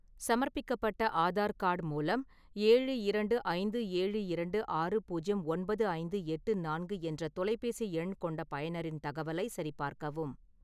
சமர்ப்பிக்கப்பட்ட ஆதார் கார்டு மூலம் ஏழு இரண்டு ஐந்து ஏழு இரண்டு ஆறு புஜ்யம் ஒன்பது ஐந்து எட்டு நான்கு என்ற தொலைபேசி எண் கொண்ட பயனரின் தகவலை சரிபார்க்கவும்